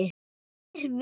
Tveir vinir